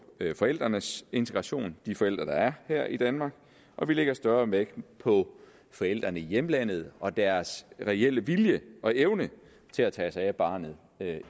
forældrenes integration de forældre der er her i danmark og vi lægger større vægt på forældrene i hjemlandet og deres reelle vilje og evne til at tage sig af barnet